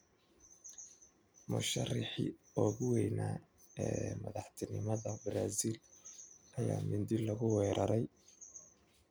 Musharrixii ugu weynaa ee madaxtinimada Brazil ayaa mindi lagu weeraray